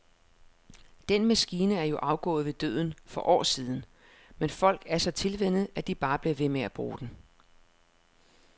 Den maskine er jo afgået ved døden for år siden, men folk er så tilvænnet, at de bare bliver ved med at bruge den.